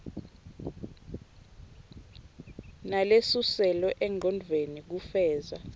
nalesuselwe engcondvweni kufeza